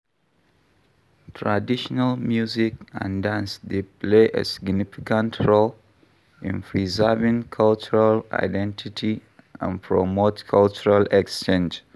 Traditional music and dance dey play a significant role in preserving cultural identity and promote cultural exchange.